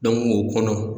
o kɔnɔ